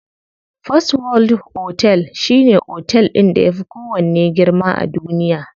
First world otel shine otel ɗin da yafi kowanne girma a duniya.